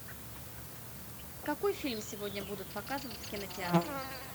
какой фильм сегодня будут показывать в кинотеатре